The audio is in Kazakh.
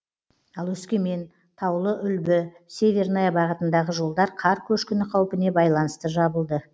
ал өскемен таулыүлбі северная бағытындағы жолдар қар көшкіні қаупіне байланысты жабылды